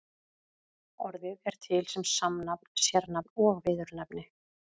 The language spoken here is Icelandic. Orðið er til sem samnafn, sérnafn og viðurnefni.